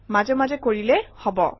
মাজে মাজে কৰিলেই হব